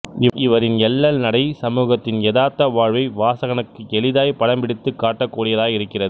இவரின் எள்ளல் நடை சமூகத்தின் எதார்த்த வாழ்வை வாசகனுக்கு எளிதாய் படம் பிடித்துக் காட்டக்கூடியதாய் இருக்கிறது